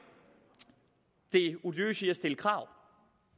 det odiøse i at stille krav